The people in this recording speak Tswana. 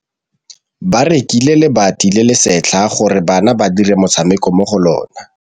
Ba rekile lebati le le setlha gore bana ba dire motshameko mo go lona.